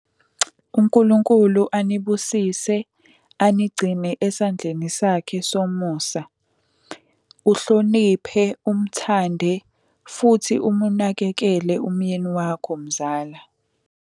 UNkulunkulu anibusise, anigcine esandleni sakhe somusa. Uhloniphe, umthande, futhi umunakekele umyeni wakho mzala.